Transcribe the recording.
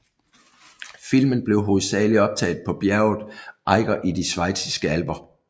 Filmen blev hovedsagelig optaget på bjerget Eiger i de Schweiziske alper